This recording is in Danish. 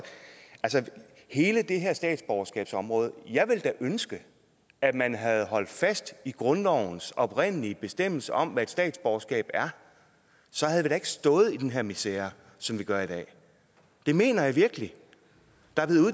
hele det her statsborgerskabsområde jeg ville da ønske at man havde holdt fast i grundlovens oprindelige bestemmelse om hvad et statsborgerskab er så havde vi ikke stået i den her misere som vi gør i dag det mener jeg virkelig der